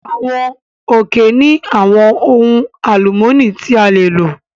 Àwọn òkè ní àwọn ohun alumọni tí a lè lò